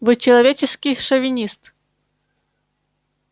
вы человеческий шовинист